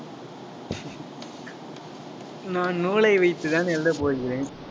நான் நூலை வைத்துதான் எழுதப் போகிறேன்